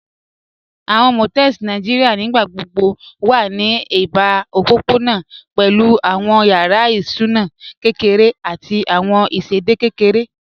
Àwọn Motels Nàìjíríà nígbàgbọ̀bọ̀ wà ní èbà òpópọ̀nà pẹ̀lú àwọn yàrá ìsúnà kẹkẹrẹ̀ àti àwọn ìṣẹ̀dẹ̀dẹ̀ kẹkẹrẹ̀